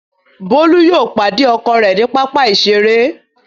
Bolu yóò pàdé ọkọ rẹ ní papa iṣere.